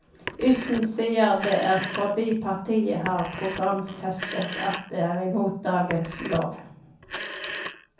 Yssen sier det er fordi partiet har programfestet at det er imot dagens lov.